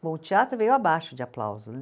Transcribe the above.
Bom, o teatro veio abaixo de aplauso, né?